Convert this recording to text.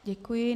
Děkuji.